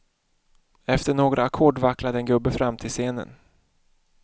Efter några ackord vacklade en gubbe fram till scenen.